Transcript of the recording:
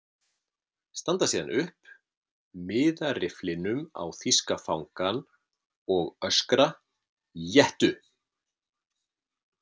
Standa síðan upp, miða rifflinum á þýska fangann og öskra: Éttu!